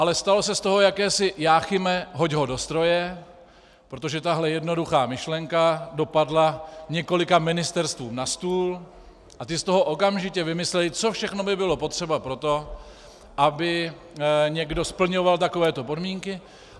Ale stalo se z toho jakési Jáchyme, hoď ho do stroje, protože tahle jednoduchá myšlenka dopadla několika ministerstvům na stůl a ta z toho okamžitě vymyslela, co všechno by bylo potřeba pro to, aby někdo splňoval takovéto podmínky.